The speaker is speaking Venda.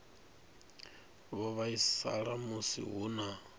vho vhaisala musi hu na